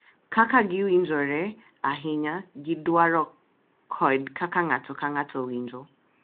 Kaka giwinjore ahinya gi dwaro kod kaka ng’ato ka ng’ato winjo.